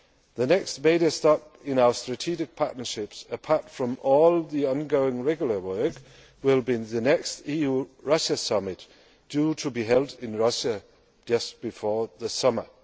The next major step in our Strategic Partnership, apart from all the ongoing regular work, will be the next EU Russia Summit, due to be held in Russia just before the summer.